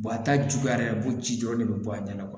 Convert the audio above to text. a ta juguyara a b'o ci dɔrɔn ne bɛ bɔ a ɲɛna